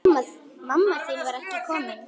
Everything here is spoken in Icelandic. Mamma þín var ekki komin.